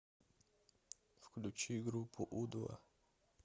включи группу у два